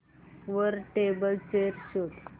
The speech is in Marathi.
वर टेबल चेयर शोध